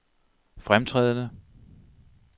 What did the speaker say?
fremtrædende